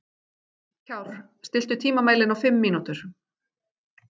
Kjárr, stilltu tímamælinn á fimm mínútur.